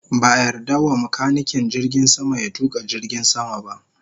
Ba a yarda wa makanikin jirgin sama ya tuka jirgin sama ba